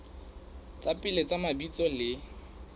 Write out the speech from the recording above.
tsa pele tsa mabitso le